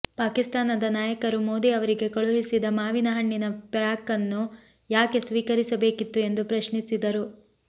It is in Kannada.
ಪಾಕಿಸ್ತಾನದ ನಾಯಕರು ಮೋದಿ ಅವರಿಗೆ ಕಳುಹಿಸಿದ ಮಾವಿನ ಹಣ್ಣಿನ ಪ್ಯಾಕನ್ನು ಯಾಕೆ ಸ್ವೀಕರಿಸಬೇಕಿತ್ತು ಎಂದು ಪ್ರಶ್ನಿಸಿದರು